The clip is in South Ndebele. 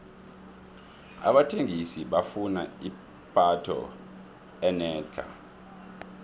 abathengi bafuna ipatho enetlha